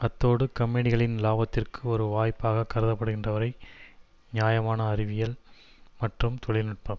அத்தோடு கம்பெனிகளின் லாபத்திற்கு ஒரு வாய்ப்பாக கருதப்படுகின்றவரை நியாயமான அறிவியல் மற்றும் தொழில்நுட்பம்